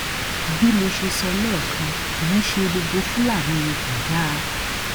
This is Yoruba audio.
bí mo ṣe sọ lẹẹkan kì í ṣe gbogbo fúlàní ni kò dáa